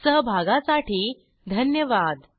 सहभागासाठी धन्यवाद